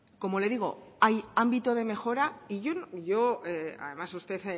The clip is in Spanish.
como le digo hay ámbito de mejora y yo además usted